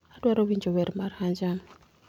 adwaro winjo wer mar hanjam